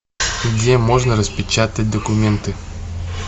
где можно распечатать документы